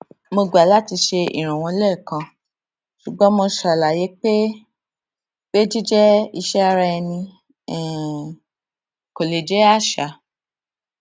mo gbà láti ṣe ìrànlọwọ lẹẹkan ṣùgbọn mo ṣàlàyé pé pé jíjẹ iṣẹ ara ẹni um kò lè jẹ àṣà